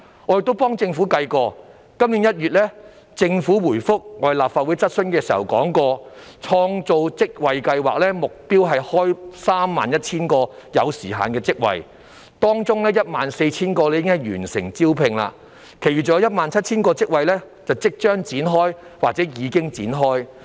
我幫政府計算過，政府今年1月回覆立法會質詢時提到，創造職位計劃的目標是開設 31,000 個有時限職位，當中 14,000 個已完成招聘，其餘尚有 17,000 個職位即將展開或已經展開。